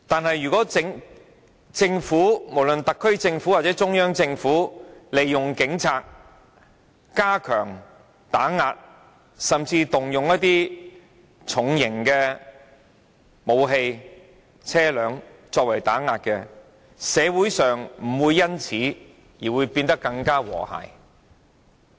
然而，即使政府——不論是特區政府或中央政府——利用警察加強打壓，甚至動用重型武器或車輛進行打壓，社會亦不會因此而變得更加和諧。